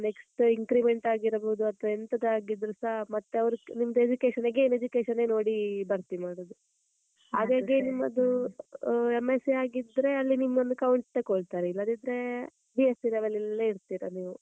Next increment ಆಗಿರ್ಬೋದು, ಅತ್ವಾ ಎಂತದೇ ಆಗಿದ್ರುಸಾ ಮತ್ತೆ ಅವ್ರು ನಿಮ್ದು education again education ಏ ನೋಡಿ ಭರ್ತಿ ಮಾಡುದು. ಅದೇ ಅದೆ ನಿಮ್ಮದು ಆಹ್ M.sc ಆಗಿದ್ರೆ ಅಲ್ಲಿ ನಿಮ್ದೋಂದು count ತಗೋಳ್ತಾರೆ, ಇಲ್ಲದಿದ್ರೆ B.sc level ಅಲ್ಲೆ ಇರ್ತಿರ ನೀವು.